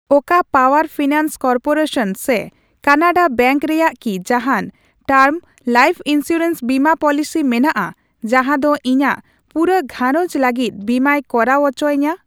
ᱚᱠᱟ power finance corporation ᱥᱮ Canada bank ᱨᱮᱭᱟᱜ ᱠᱤ ᱡᱟᱦᱟᱱ ᱴᱟᱨᱢ ᱞᱟᱭᱤᱷ ᱤᱱᱥᱩᱨᱮᱱᱥ ᱵᱤᱢᱟᱹ ᱯᱚᱞᱤᱥᱤ ᱢᱮᱱᱟᱜᱼᱟ ᱡᱟᱦᱟᱸ ᱫᱚ ᱤᱧᱟᱜ ᱯᱩᱨᱟᱹ ᱜᱷᱟᱨᱚᱸᱡᱽ ᱞᱟᱹᱜᱤᱫ ᱵᱤᱢᱟᱹᱭ ᱠᱚᱨᱟᱣ ᱩᱪᱚᱣᱟᱹᱧᱟ ?